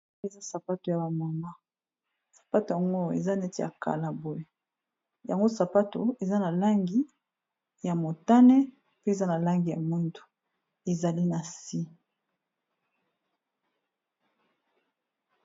Eza sapato ya ba mama sapato yango eza neti ya kala boye. Yango sapato eza na langi ya motane, mpe eza na langi ya mwindu ezali na si.